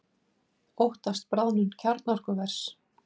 Óttast bráðnun kjarnorkuvers